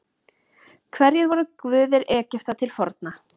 Hverjir voru guðir Egypta til forna?